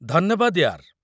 ଧନ୍ୟବାଦ ୟାର୍।